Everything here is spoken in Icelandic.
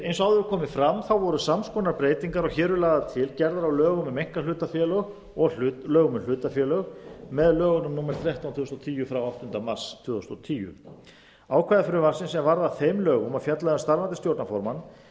eins og áður er komið fram voru sams konar breytingar og hér eru lagðar til gerðar á lögum um einkahlutafélög og lögum um hlutafélög með lögunum númer þrettán tvö þúsund og tíu frá áttunda mars tvö þúsund og tíu ákvæði frumvarpsins er varð að þeim lögum og fjallaði um starfandi stjórnarformann